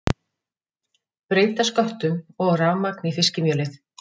Breyta sköttum og rafmagn í fiskimjölið